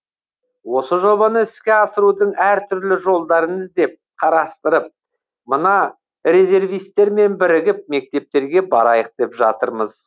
осы жобаны іске асырудың әртүрлі жолдарын іздеп қарастырып мына резервистермен бірігіп мектептерге барайық деп жатырмыз